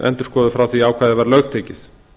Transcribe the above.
endurskoðuð frá því ákvæðið var lögtekið